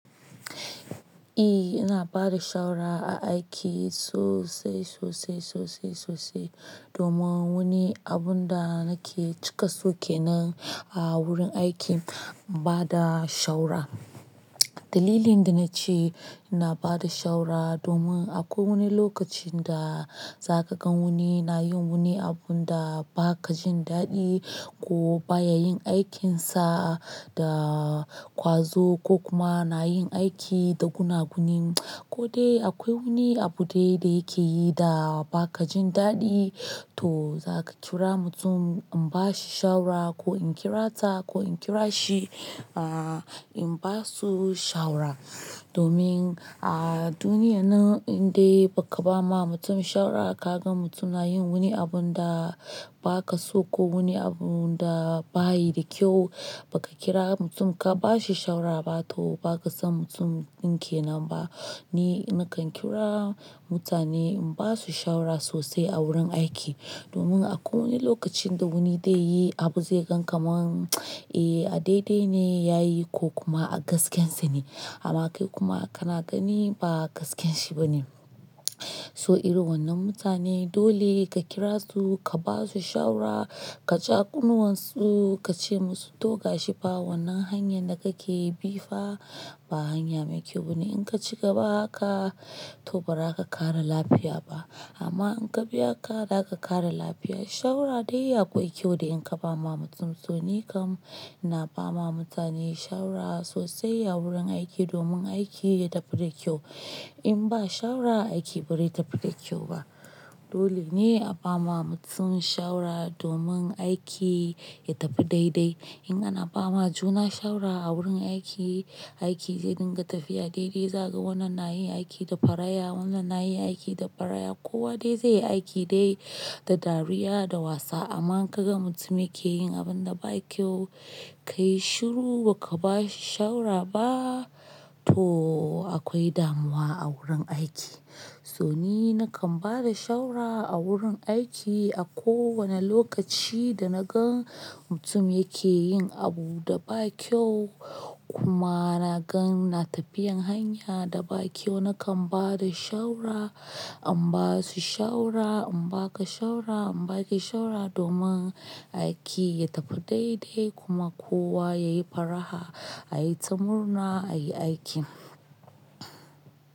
E, ina bada shawara a aiki sosai, sosai, sosai, sosai domin wani abun da nake cika so ke nan a wurin aiki, bada shawara. Dalilin da na ce ina bada shawara domin akwai wani lokacin da za ka gan wani nayin wani abun da ba ka jin daɗi ko baya yin aikinsa da ƙwazo ko kuma na yin aiki da gunaguni. Ko dai akwai wani abu dai da yake yi da ba ka jin daɗi, to za ka kira mutum in ba shi shawara ko in kira ta ko in kira shi, ah in ba su shawara. Domin a duniyyan nan in dai ba ka ba ma mutum shawara ka gan mutum na yin wani abun da ba ka so ko wani abun da ba yi da kyau, ba ka kira mutum ka ba shi shawara ba toh ba ka san mutumin ke nan ba. Ni nakan kira mutane in ba su shawara sosai a wurin aiki domin akwai wani lokacin da wani dai yi abu zai gan kamar, eh a daidai ne ya yi ko kuma a gaskiyarsa ne amma kai kuma kana gani ba gaskiyarshi ba ne. So irin wannan mutane dole ka kira su, ka ba su shawara, kaja ƙunnuwan su, ka ce musu toga shifa wannan hanyar da kake yi bifa ba hanya mai kyau ba ne. In ka ci gaba haka toh ba za ka ƙara lafiya ba amma in ka biya ka, za ka ƙara lafiya. Shawara dai yaƙwai kyau da in ka ba ma mutum. So ni kam na ba ma mutane shawara sosai a wurin aiki domin aiki ya tafi da kyau. Ba ka so ko wani abun da ba yi da kyau, ba ka kira mutum ka ba shi shawara ba toh ba ka san mutum din ke nan ba. Dole ne a ba ma mutum shawara domin aiki ya tafi daidai. In ana ba ma juna shawara a wurin aiki, aiki zai dinga tafiya daidai. Za ka ga wannan nayi aiki da faraya, wannan nayi aiki da faraya. Kowa dai zai yi aiki dai da dariya, da wasa amma in ka gan mutum yake yin abun da ba kyau, ka yi shiru ba ka ba shi shawara ba toh akwai damuwa a wurin aiki. So ni nakan bada shawara a wurin aiki a kowane lokaci da na gan mutum yake yin abu da ba kyau kuma na gan na tafiyan hanya da ba kyau, nakan bada shawara. An ba su shawara, an ba ka shawara, an ba ki shawara domin aiki ya tafi daidai kuma kowa ya yi faraha, a yi ta murna, a yi aiki.